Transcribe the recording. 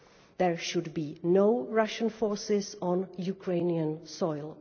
There should be no Russian forces on Ukrainian soil.